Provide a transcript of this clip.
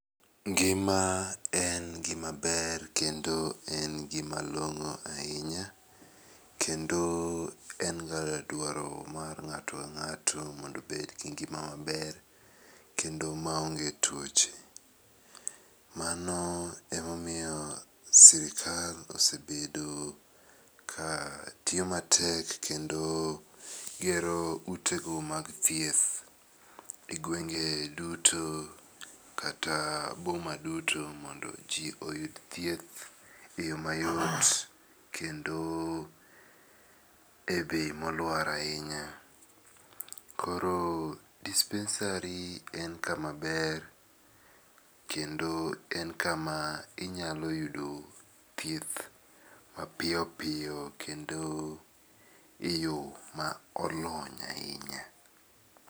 Ngima en gi ma ber kendo en gi malongo ainya kendo en ga dwaro mar ngato ka ngato mondo obed gi ngima ma ber ma onge tuoche. Mano e ma omiyo sirkal osebedo ka tiyo ma tek kendo gero ute gi mag thieth e gwenge duto kata boma duto mondo ji oyud thieth e yo ma yot kendo e bei ma oluar ainya. Koro dispensary en ka ma ber kendo en ka ma inya yude thieth ma piyo piyo kendo e yo ma olony ainya.